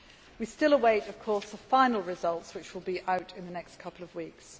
We still await the final results, which will be out in the next couple of weeks.